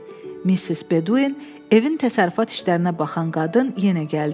Missis Bedouin, evin təsərrüfat işlərinə baxan qadın yenə gəldi.